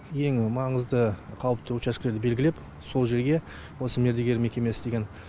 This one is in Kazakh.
ең маңызды қауіпті учаскелерді белгілеп сол жерге осы мердігер мекемесі деген